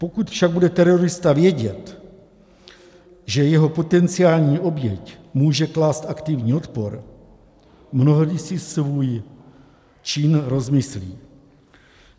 Pokud však bude terorista vědět, že jeho potenciální oběť může klást aktivní odpor, mnohdy si svůj čin rozmyslí.